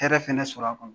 Hɛrɛ fɛnɛ sɔrɔ a kɔnɔ